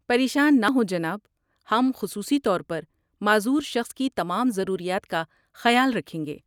پریشان نہ ہوں جناب، ہم خصوصی طور پر معذور شخص کی تمام ضروریات کا خیال رکھیں گے۔